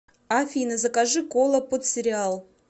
афина закажи кола под сериал